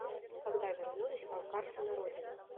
когда вернулись балкарцы на родину